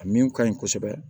A min ka ɲi kosɛbɛ